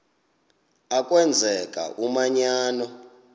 a kwenzeka umanyano